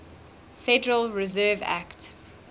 federal reserve act